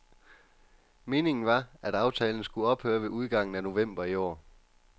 Meningen var, at aftalen skulle ophøre ved udgangen af november i år.